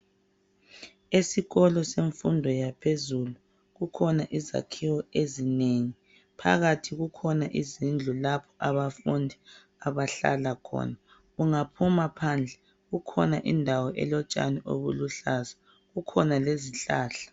Esikolo semfundo yaphezulu kukhona izakhiwo ezinengi phakathi kukhona izindlu lapha abafundi abahlala khona ungaphuma phadle kukhona indawo elotshani obuluhlaza kukhona lezihlahla.